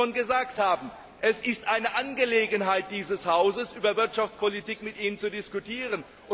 Denn wie Sie das schon gesagt haben Es ist eine Angelegenheit dieses Hauses, über Wirtschaftspolitik mit Ihnen zu diskutieren.